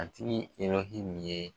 A tigi nin ye